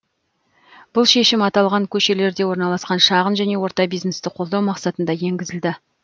бұл шешім аталған көшелерде орналасқан шағын және орта бизнесті қолдау мақсатында енгізілді